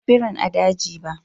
Ban gan birin a daji ba.